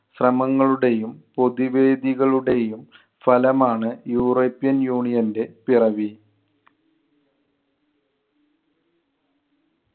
ശ്രമങ്ങളുടെയും പൊതുവേദികളുടെയും ഫലമാണ് യൂറോപ്യൻ യൂണിയന്‍റെ പിറവി.